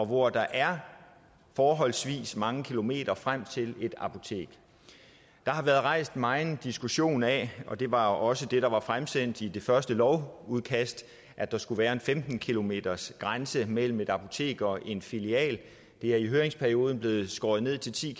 hvor der er forholdsvis mange kilometer frem til et apotek der har været megen diskussion af og det var også det der var fremsendt i det første lovudkast at der skulle være en femten kilometersgrænse mellem et apotek og en filial det er i høringsperioden blevet skåret ned til ti